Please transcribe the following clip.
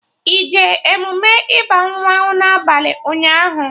Ị jee emume ịba mmanwụ na abalị ụnyaahụ?